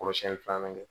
Kɔlɔsili filanan kɛ